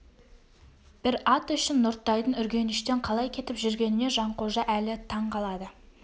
бір ат үшін нұртайдың үргеніштен қалай кетіп жүргеніне жанқожа әлі таң қалады